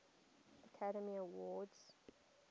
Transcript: academy awards